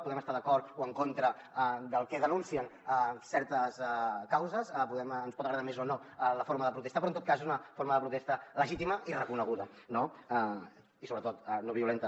podem estar d’acord o en contra del que denuncien certes causes ens pot agradar més o no la forma de protestar però en tot cas és una forma de protesta legítima i reconeguda no i sobretot no violenta